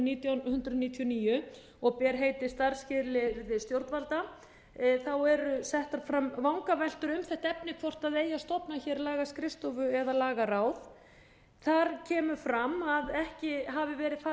nítján hundruð níutíu og níu og ber heitið starfsskilyrði stjórnvalda eru settar fram vangaveltur um þetta efni hvort eigi að stofna hér lagaskrifstofu eða lagaráð þar kemur fram að ekki hafi verið farið